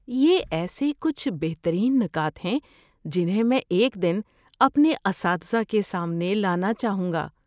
یہ ایسے کچھ بہترین نکات ہیں جنہیں میں ایک دن اپنے اساتذہ کے سامنے لانا چاہوں گا۔